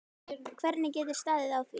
Hvernig getur staðið á því?